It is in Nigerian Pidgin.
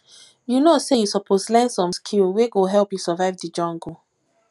you know sey you suppose learn some skill wey go help you survive di jungle